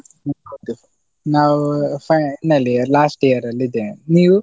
ಹೌದು ನಾವು final year last year ಅಲ್ಲಿ ಇದ್ದೇನೆ, ನೀವು?